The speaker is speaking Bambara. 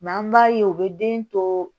an b'a ye u bɛ den to